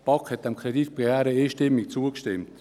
Die BaK hat diesem Kreditbegehren einstimmig zugestimmt.